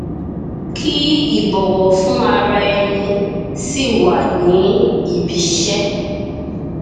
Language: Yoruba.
kí ìbọwọ fún ara ẹni sì wà ní ibiiṣẹ